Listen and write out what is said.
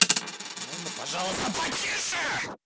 а можно пожалуйста потише